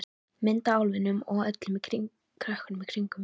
Mynd af álfinum og öllum krökkunum í kring.